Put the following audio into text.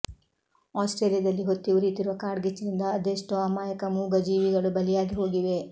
Australia ದಲ್ಲಿ ಹೊತ್ತಿ ಉರಿಯುತ್ತಿರುವ ಕಾಡ್ಗಿಚ್ಚಿನಿಂದ ಅದೆಷ್ಟೋ ಅಮಾಯಕ ಮೂಗ ಜೀವಿಗಳು ಬಲಿಯಾಗಿ ಹೋಗಿವೆ